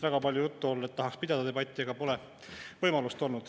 Väga palju on juttu olnud sellest, et tahaks pidada debatti, aga pole võimalust olnud.